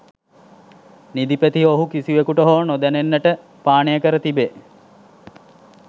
නිදි පෙති ඔහු කිසිවකුට හෝ නොදැනෙන්නට පානය කර තිබේ